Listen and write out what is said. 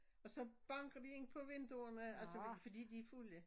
Og så banker de ind på vinduerne altså fordi de er fulde